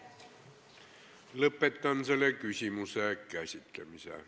Lõpetan selle küsimuse käsitlemise.